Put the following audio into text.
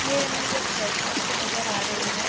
ये इमेज एक प्लॅटफॉम की नजर आ रही है।